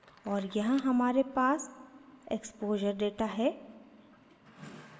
और यहाँ हमारे पास इक्स्पोश़र exposure data है